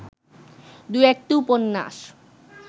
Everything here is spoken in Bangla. দু’একটি উপন্যাস